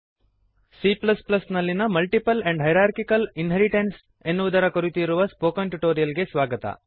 C ನಲ್ಲಿಯ multiple and hierarchical inheritance multiple and hierarchical inheritance ಎನ್ನುವುದರ ಕುರಿತು ಇರುವ ಸ್ಪೋಕನ್ ಟ್ಯುಟೋರಿಯಲ್ ಗೆ ಸ್ವಾಗತ